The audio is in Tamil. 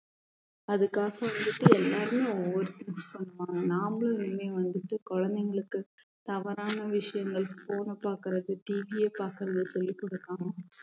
அதுக்காக வந்துட்டு எல்லாருமே ஒவ்வொரு thing பண்ணுவாங்க நாமளும் இனிமே வந்துட்டு குழந்தைங்களுக்கு தவறான விஷயங்கள் phone அ பாக்குறது TV யை பாக்குறது சொல்லி குடுக்காம